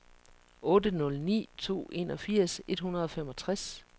otte nul ni to enogfirs et hundrede og femogtres